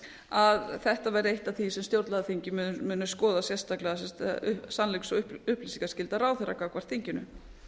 að þetta væri eitt af því sem stjórnlagaþingið muni skoða sérstaklega það er sannleiks og upplýsingaskylda ráðherra gagnvart þinginu